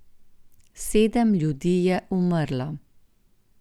Sedem ljudi je umrlo.